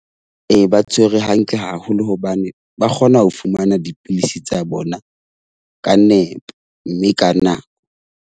Ee, ba tshwerwe hantle haholo hobane ba kgona ho fumana dipidisi tsa bona ka nepo mme ka nako.